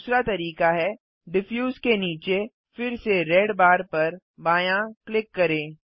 दूसरा तरीका है डिफ्यूज के नीचे फिर से रेड बार पर बायाँ क्लिक करें